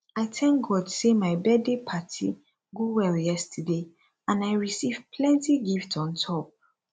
i thank god say my birthday party go well yesterday and i receive plenty gift on top